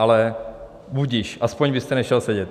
Ale budiž, aspoň byste nešel sedět.